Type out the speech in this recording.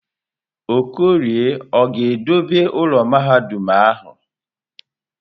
Okorie ọ ga-edobe ụlọ mahadum ahụ?